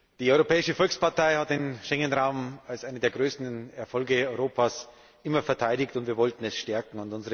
Die Europäische Volkspartei hat den Schengen Raum als einen der größten Erfolge Europas immer verteidigt, und wir wollten ihn stärken.